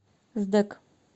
сдэк